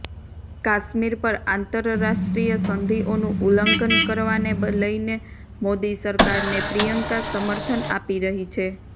કાશ્મીર પર આંતરરાષ્ટ્રીય સંધિઓનું ઉલ્લંધન કરવાને લઈને મોદી સરકારને પ્રિયંકા સમર્થન આપી રહી છે